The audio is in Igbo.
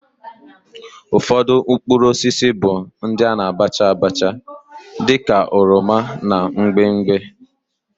Ufodu mkpuruosisi bu ndi ana abacha abacha di ka oroma na mgbimgbi.